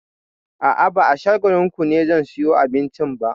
A'a, ba a Shagalinku ne zan sayo abincin ba.